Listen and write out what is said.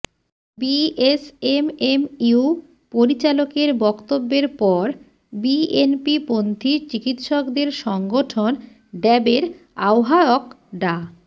BSMMU পরিচালকের বক্তব্যের পর বিএনপিপন্থী চিকিৎসকদের সংগঠন ড্যাবের আহ্বায়ক ডা